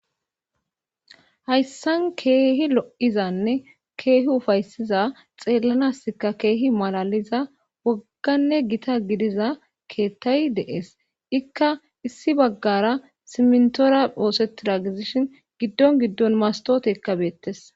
Hayssan keehi lo7izanne keehi ufaysiza xeellanasikka keehi malaaliza wogganne gita gidiza keettay de7ees;ikka issi baggara simmintora oosettida gidishin giddon giddon mastootekka beettes.